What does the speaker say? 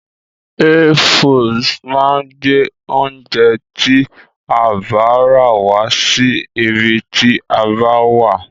Hey foods máa gbé oúnjẹ tí a bá rà wá sí ibi tí a bá wà.